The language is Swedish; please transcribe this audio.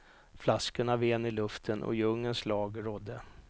Flaskorna ven i luften och djungelns lag rådde.